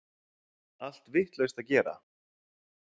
Allt vitlaust að gera!